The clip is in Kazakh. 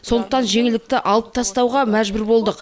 сондықтан жеңілдікті алып тастауға мәжбүр болдық